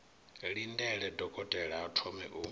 lindele dokotela a thome u